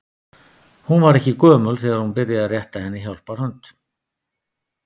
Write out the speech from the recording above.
Hún var ekki gömul þegar hún byrjaði að rétta henni hjálparhönd.